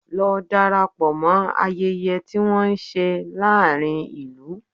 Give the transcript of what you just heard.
Lọ darapọ̀ mọ ayẹyẹ tí wọ́n ń ṣe láàárín ìlú!